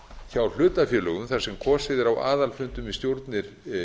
hjá hlutafélögum þar sem kosið er á aðalfundum í stjórnir